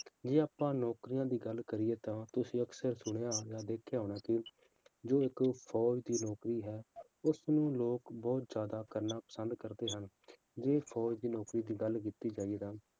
ਜੇ ਆਪਾਂ ਨੌਕਰੀਆਂ ਦੀ ਗੱਲ ਕਰੀਏ ਤਾਂ ਤੁਸੀਂ ਅਕਸਰ ਸੁਣਿਆ ਹੋਣਾ, ਦੇਖਿਆ ਹੋਣਾ ਕਿ ਜੋ ਇੱਕ ਫੌਜ਼ ਦੀ ਨੌਕਰੀ ਹੈ, ਉਸਨੂੰ ਲੋਕ ਬਹੁਤ ਜ਼ਿਆਦਾ ਕਰਨਾ ਪਸੰਦ ਕਰਦੇ ਹਨ, ਜੇੇ ਫੌਜ ਦੀ ਨੌਕਰੀ ਦੀ ਗੱਲ ਕੀਤੇ ਜਾਏ ਤਾਂ